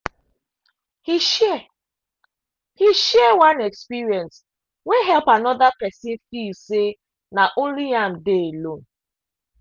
he share he share one experience wey help another person feel say na only am dey alone.